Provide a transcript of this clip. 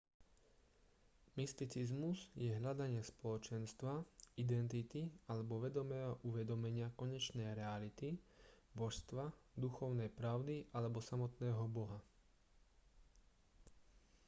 mysticizmus je hľadanie spoločenstva identity alebo vedomého uvedomenia konečnej reality božstva duchovnej pravdy alebo samotného boha